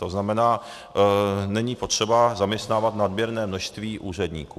To znamená, není potřeba zaměstnávat nadměrné množství úředníků.